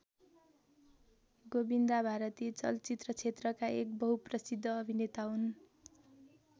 गोविन्दा भारतीय चलचित्र क्षेत्रका एक बहुप्रसिद्ध अभिनेता हुन्।